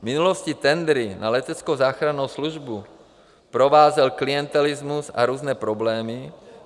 V minulosti tendry na leteckou záchrannou službu provázel klientelismus a různé problémy.